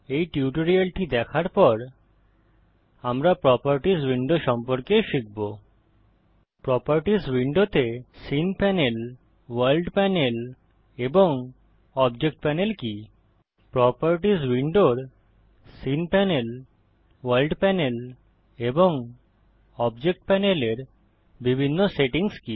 এই টিউটোরিয়ালটি দেখার পর আমরা প্রোপার্টিস উইন্ডো সম্পর্কে শিখব প্রোপার্টিস উইন্ডোতে সিন পানেল ভোর্ল্ড পানেল এবং অবজেক্ট পানেল কি প্রোপার্টিস উইন্ডোর সিন পানেল ভোর্ল্ড পানেল এবং অবজেক্ট পানেল এর বিভিন্ন সেটিংস কি